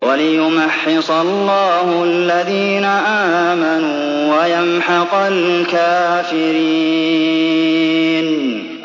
وَلِيُمَحِّصَ اللَّهُ الَّذِينَ آمَنُوا وَيَمْحَقَ الْكَافِرِينَ